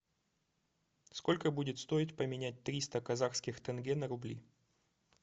сколько будет стоить поменять триста казахских тенге на рубли